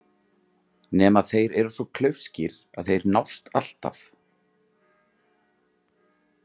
Nema þeir eru svo klaufskir að þeir nást alltaf.